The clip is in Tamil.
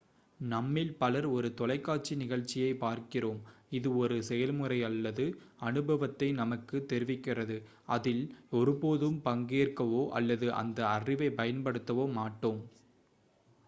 நம்மில் பலர் ஒரு தொலைக்காட்சி நிகழ்ச்சியைப் பார்க்கிறோம் இது ஒரு செயல்முறை அல்லது அனுபவத்தை நமக்குத் தெரிவிக்கிறது அதில் ஒருபோதும் பங்கேற்கவோ அல்லது அந்த அறிவைப் பயன்படுத்தவோ மாட்டோம்